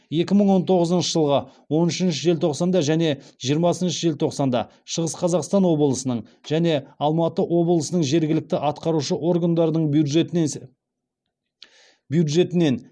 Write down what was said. екі мың он тоғызыншы жылғы он үшінші желтоқсанда және жиырмасыншы желтоқсанда шығыс қазақстан облысының және алматы облысының жергілікті атқарушы органдардың бюджетінен